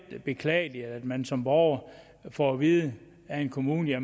beklageligt at man som borger får at vide af kommunen at